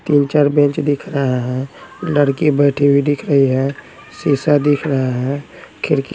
तीन-चार बेंच दिख रहा हैं लड़की बैठी हुई दिख रही हैं शीशा दिख रहा हैं खिड़की--